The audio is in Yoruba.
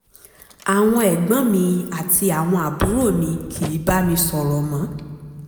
àwọn ẹ̀gbọ́n mi àti àwọn àbúrò mi kìí bá mi sọ̀rọ̀ mọ́